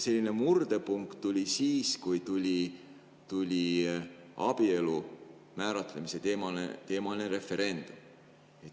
Murdepunkt tuli siis, kui tuli abielu määratlemise referendum kõne alla.